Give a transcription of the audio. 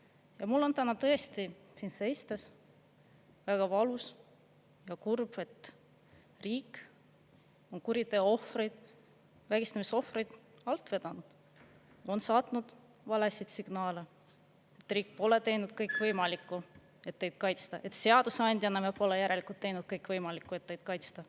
Ja mul on täna tõesti siin esitas väga valus ja kurb, et riik on kuriteoohvrit, vägistamisohvrit alt vedanud, on saatnud valesid signaale: "Riik pole teinud kõike võimalikku, et teid kaitsta; seadusandjana me pole järelikult teinud kõike võimalikku, et teid kaitsta.